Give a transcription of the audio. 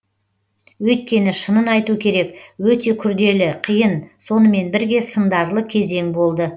өйткені шынын айту керек өте күрделі қиын сонымен бірге сындарлы кезең болды